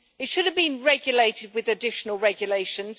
It should have been regulated with additional regulations.